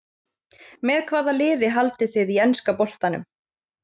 Með hvaða liði haldið þið í enska boltanum?